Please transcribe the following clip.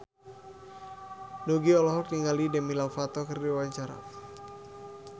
Nugie olohok ningali Demi Lovato keur diwawancara